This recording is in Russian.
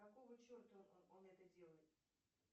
какого черта он это делает